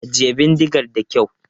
Ajiye bindigar da kyau!